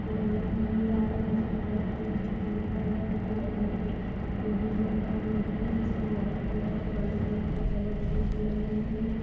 लगी हुई है गाड़ी जिसमे ट्रक सब कुछ दिखाई दे रहा है। एक टू व्हीलर खड़ी हुई है जिसमें वाईट कलर और काले कलर की कवर शीट लगी हुई है।